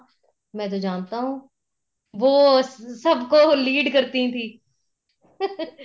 ਮੈਂ ਜਾਨਤਾ ਹੂੰ ਵੋ ਸਭ ਕੋ lead ਕਰਤੀ ਥੀ